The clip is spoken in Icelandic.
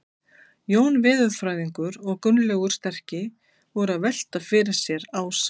Jón veðurfræðingur og Gunnlaugur sterki voru að velta fyrir sér ásamt